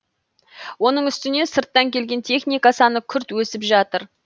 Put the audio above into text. оның үстіне сырттан келген техника саны күрт өсіп жатыр